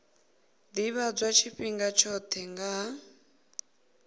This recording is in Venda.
ḓivhadzwa tshifhinga tshoṱhe nga ha